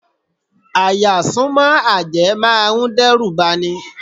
À-yà súnmọ́ àjẹ́ máa dẹ́rùbà ni.